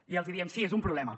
i els hi diem sí és un problema